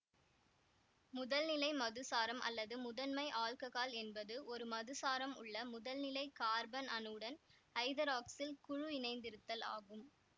முதல்நிலை மதுசாரம் அல்லது முதன்மை ஆல்ககால் என்பது ஓரு மதுசாரம் உள்ள முதல்நிலை கார்பன் அணுவுடன் ஐதராக்சில் குழு இணைந்திருத்தல் ஆகும்